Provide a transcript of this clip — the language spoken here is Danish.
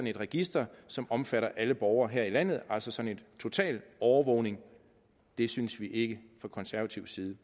et register som omfatter alle borgere her i landet altså sådan en total overvågning det synes vi ikke fra konservativ side